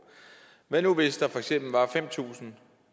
hvad nu hvis der for eksempel var fem tusind